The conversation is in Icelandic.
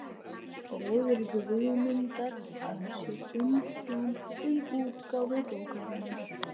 bróðir Guðmundar, að sér umsjón með útgáfu bókarinnar.